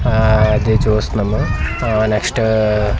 ఆ అది చూస్తున్నాము ఆ నెక్స్ట్ .